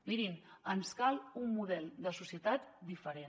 mirin ens cal un model de societat diferent